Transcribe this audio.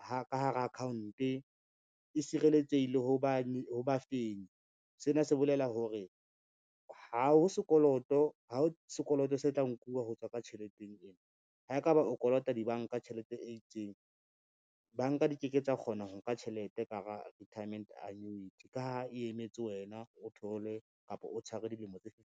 ka hara account, e sireletsehile ho bafenyi. Sena se bolela hore, ha ho sekoloto se tla nkuwa ho tswa ka tjheleteng ena, ha e ka ba o kolota dibanka tjhelete e itseng, banka di ke ke tsa kgona ho nka tjhelete ka hara retirement annuity, ka ha e emetse wena o thole kapa o tshware dilemo tse .